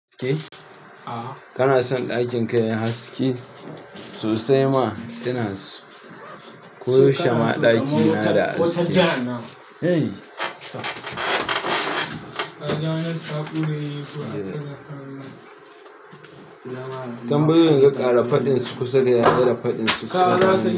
Kana son ɗakin ka yayi haski? Sosai ma ina so. Ko shama ɗakina da haske kai tambayan ga ƙara faɗin su kusa da ya ƙara faɗin su, ƙara sa.